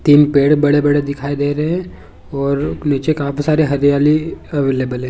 तीन पेड़ बड़े-बड़े दिखाई दे रहे हैं और नीचे काफी सारी हरियाली अवेलेबल हैं ।